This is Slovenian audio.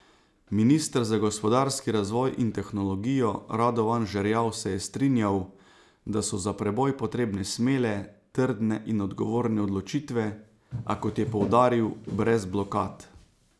Minister za gospodarski razvoj in tehnologijo Radovan Žerjav se je strinjal, da so za preboj potrebne smele, trdne in odgovorne odločitve, a, kot je poudaril, brez blokad.